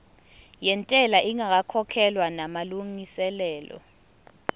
yentela ingakakhokhwa namalungiselo